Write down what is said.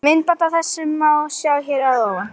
Myndband af þessu má sjá hér að ofan.